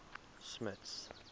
smuts